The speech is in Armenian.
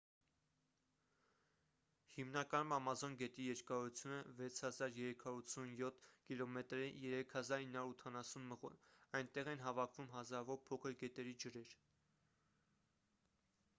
հիմնականում ամազոն գետի երկարությունը 6387 կմ է 3980 մղոն: այնտեղ են հավաքվում հազարավոր փոքր գետերի ջրեր: